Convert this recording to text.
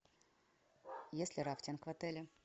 есть ли рафтинг в отеле